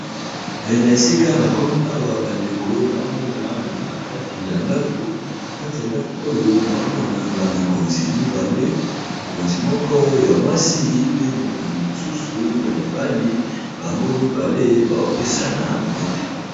Na esika na komi awa ba ndeko nazo mona naza na kati ya ndako. Kati ndaku oyo nazo mona ba mikonzi mibale, mokonzi moko ya mwasi, pe mokonzi mosusu ya mobali, bango mibale bazo pesana mbote .